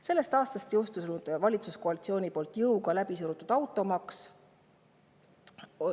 Selle aasta algul jõustus valitsuskoalitsiooni poolt jõuga läbi surutud automaks.